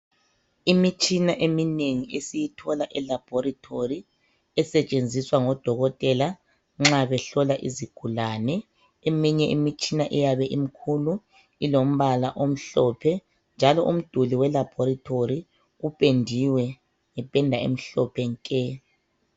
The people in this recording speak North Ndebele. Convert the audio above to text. Imitshina eminengi esiyithola elaborethori esetshenziswa ngodokotela nxa behlola izigulane. Eminye imitshina iyabe imkhulu ilombala omhlophe njalo umduli welabhorethori upendiwe ngependa emhlophe nke.